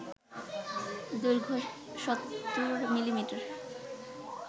দৈর্ঘ্য ৭০ মিলিমিটার